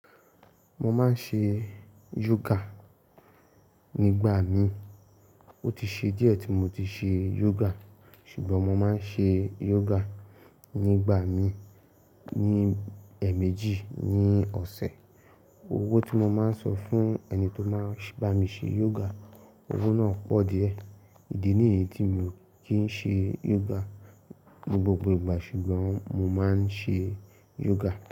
Mo máa ń ṣe yoga nígbà mi i. Ó ti ṣe díẹ̀ tí mo ti ṣe yoga ṣùgbọ́n mo máa ń ṣe yoga nígbà mi ní ẹẹ̀mẹ́jì ní ọ̀sẹ̀. Owó tí mo máa ń san fún ẹni tó máa ń bá mi ṣe yoga, owó náà pọ̀ díẹ̀. Ìdí nìyí tí m i o kì í ṣe yoga ní gbogbo ìgbà ṣùgbọ́n mo máa ń ṣe yoga.